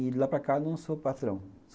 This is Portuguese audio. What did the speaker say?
E de lá para cá eu não sou patrão.